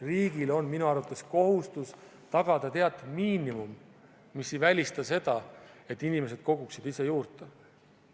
Riigil on minu arvates kohustus tagada teatud miinimum, mis ei välista seda, et inimesed koguksid ise juurde.